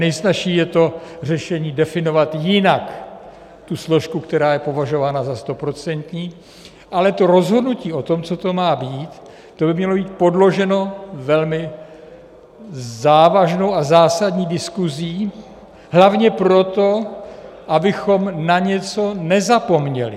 Nejsnazší je to řešení definovat jinak tu složku, která je považována za stoprocentní, ale to rozhodnutí o tom, co to má být, to by mělo být podloženo velmi závažnou a zásadní diskusí, hlavně proto, abychom na něco nezapomněli.